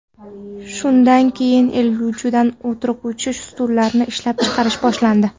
Shundan keyin egiluvchan o‘tirg‘ichli stullarni ishlab chiqarish boshlandi.